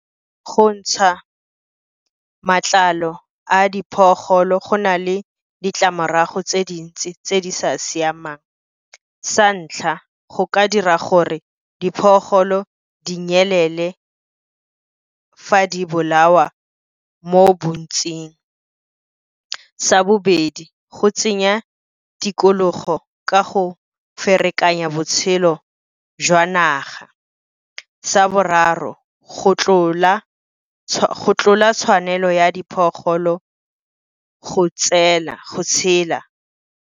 Go ntsha matlalo a go na le ditlamorago tse dintsi tse di sa siamang. Sa ntlha, go ka dira gore di nyelele fa di bolawa mo bontsing. Sa bobedi, go tsenya tikologo ka go ferekanya botshelo jwa naga. Sa boraro, go tlola tshwanelo ya diphologolo go tshela.